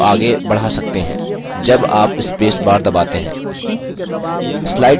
आप अगली slide को आगे बढ़ा सकते हैं जब आप space bar दबाते हैं